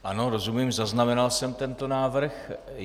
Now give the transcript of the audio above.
Ano, rozumím, zaznamenal jsem tento návrh.